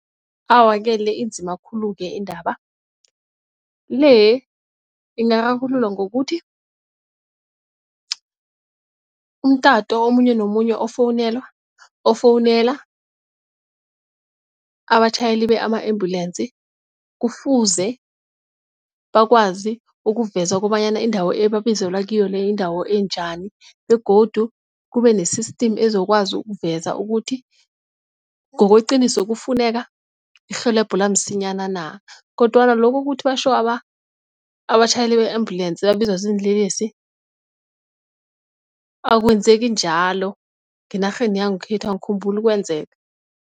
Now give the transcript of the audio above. Awa-ke le inzima khulu-ke indaba, le ingararululwa ngokuthi umtato omunye nomunye ofowunelwa ofowunela abatjhayeli ama-ambulensi kufuze bakwazi ukuvezwa kobanyana indawo ebabizelwa kiyo le yindawo enjani begodu kube ne-system ezokwazi ukuveza ukuthi ngokweqiniso kufuneka irhelebho la msinyana na, kodwana lokho ukuthi batjho abatjhayeli be-ambulensi babizwa ziinlelesi akwenzeki njalo ngenarheni yangekhethu angikhumbuli kwenzeka.